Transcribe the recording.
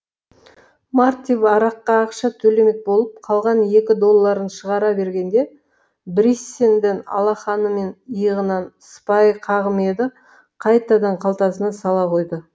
мартип араққа ақша төлемек болып қалған екі долларын шығара бергенде бриссенден алақанымен иығынан сыпайы қағым еді қайтадан қалтасына сала қойды